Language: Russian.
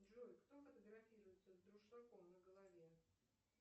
джой кто фотографируется с дуршлагом на голове